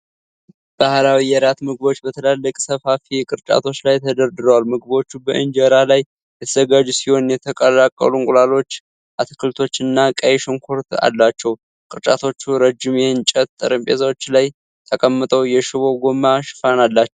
ባህላዊ የራት ምግቦች በትላልቅ ሰፋፊ ቅርጫቶች ላይ ተደርድረዋል። ምግቦቹ በኢንጀራ ላይ የተዘጋጁ ሲሆን የተቀቀሉ እንቁላሎች፣ አትክልቶችና ቀይ ሽንኩርት አላቸው። ቅርጫቶቹ ረጅም የእንጨት ጠረጴዛዎች ላይ ተቀምጠው የሽቦ ጎማ ሽፋን አላቸው።